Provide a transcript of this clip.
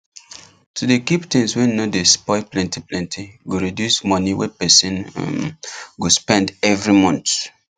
to dey keep things wey no dey spoil plenty plenty go reduce money wey person um go spend every month